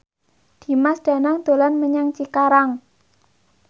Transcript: Dimas Danang dolan menyang Cikarang